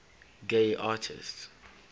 gay artists